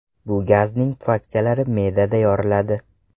Bu gazning pufakchalari me’dada yoriladi.